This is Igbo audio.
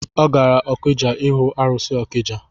Ọ gara okija ihu arụsị ọkija